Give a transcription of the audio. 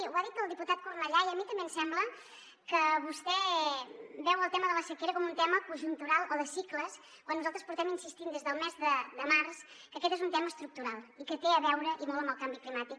ho ha dit el diputat cornellà i a mi també em sembla que vostè veu el tema de la sequera com un tema conjuntural o de cicles quan nosaltres portem insistint des del mes de març que aquest és un tema estructural i que té a veure i molt amb el canvi climàtic